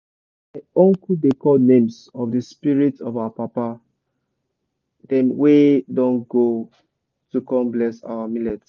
my uncle dey call names of the spirit of our papa dem wey don go to come bless our millet.